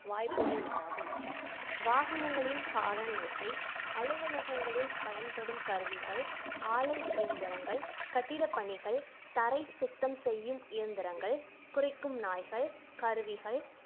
வாய்ப்புகள் உண்டாகும் வாகனங்களின் horn ஓசை அலுவலகங்களில் பயன்படும் கருவிகள் ஆலை இயந்திரங்கள் கட்டிடப் பணிகள் தரை சுத்தம் செய்யும் இயந்திரங்கள் குரைக்கும் நாய்கள் கருவிகள்